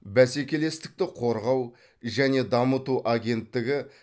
бәсекелестікті қорғау және дамыту агенттігі